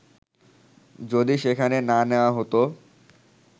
যদি সেখানে না নেওয়া হতো